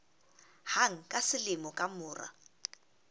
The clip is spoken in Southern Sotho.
hang ka selemo ka mora